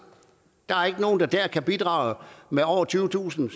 der er der ikke nogen der kan bidrage med over tyvetusind